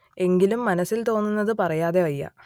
എങ്കിലും മനസ്സിൽ തോന്നുന്നത് പറയാതെ വയ്യ